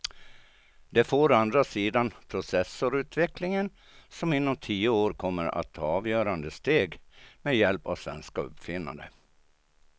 Det får å andra sidan processorutvecklingen som inom tio år kommer att ta avgörande steg med hjälp av svenska uppfinnare.